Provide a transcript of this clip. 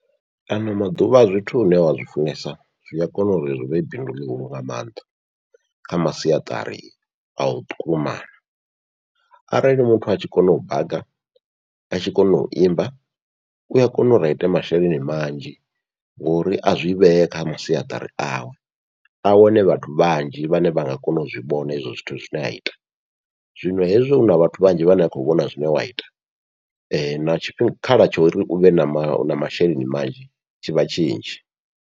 Ano maḓuvha zwithu une wa zwifunesa zwia kona uri zwivhe bindu ḽihulu nga maanḓa kha masiaṱari au ṱumana, arali muthu atshi kona u baga atshi kona uimba ua kona uri aite masheleni manzhi ngori azwi vhee kha masiaṱari awe a wane vhathu vhanzhi vhane vha nga kona u zwivhona hezwo zwithu zwine aita. Zwino hezwi huna vhathu vhanzhi vhane vha khou vhona zwine wa ita, na tshikhala tsho uri uvhe na ma na masheleni manzhi tshivha tshinzhi.